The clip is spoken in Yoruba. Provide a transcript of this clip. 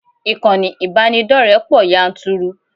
Ìkànnì ìbánidọ́rẹ̀ẹ́ pọ̀ yanturu.